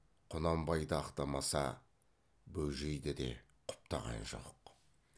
құнанбайды ақтамаса бөжейді де құптаған жоқ